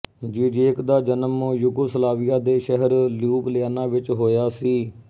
Zizek ਦਾ ਜਨਮ Yugoslavia ਦੇ ਸ਼ਹਿਰ ਲਿਯੂਬਲਿਆਨਾ ਵਿੱਚ ਹੋਇਆ ਸੀ